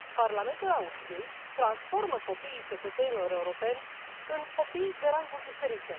Parlamentul Austriei transformă copiii cetățenilor europeni în copii de ranguri diferite.